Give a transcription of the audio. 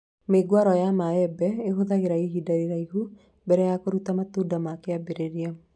Mĩũngũrwa ya mĩembe ĩhũthagĩra ihinda iraihu mbere ya kũrũta matunda ma kĩambĩrĩria